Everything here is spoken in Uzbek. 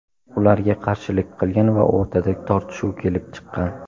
ularga qarshilik qilgan va o‘rtada tortishuv kelib chiqqan.